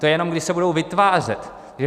To je jenom, kdy se budou vytvářet.